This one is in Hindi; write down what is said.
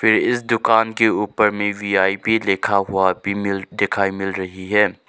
इस दुकान के ऊपर में वी_आई_पी लिखा हुआ भी मिल दिखाई मिल रही है।